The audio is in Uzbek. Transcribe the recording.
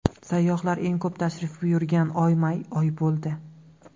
Sayyohlar eng ko‘p tashrif buyurgan oy may oyi bo‘ldi.